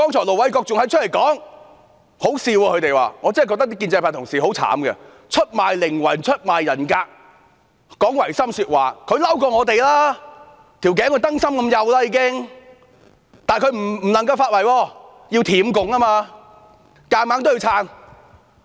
盧偉國議員剛才的說話很可笑，我真的覺得建制派同事很可憐，出賣靈魂、出賣人格、講違心的說話，他們比我們更生氣，頸已經幼得像燈芯，但他們不能發圍，因為要舔共，硬着頭皮也要撐。